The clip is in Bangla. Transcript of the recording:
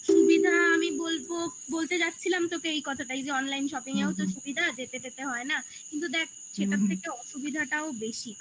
সুবিধা আমি বলবো. বলতে যাচ্ছিলাম তোকে এই কথাটা. এই যে অনলাইন shopping এও তো সুবিধা যেতে টেতে হয় না কিন্তু দেখ সেটার থেকে অসুবিধাটাও বেশি